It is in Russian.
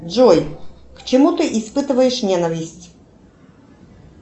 джой к чему ты испытываешь ненависть